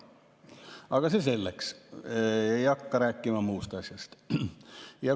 Aga see selleks, ei hakka rääkima muust asjast.